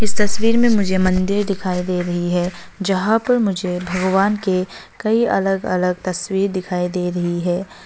इस तस्वीर में मुझे मंदिर दिखाई दे रही है जहां पर मुझे भगवान के कई अलग अलग तस्वीर दिखाई दे रही है।